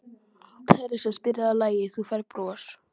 Teresa, spilaðu lagið „Þú Færð Bros“.